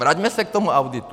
Vraťme se k tomu auditu.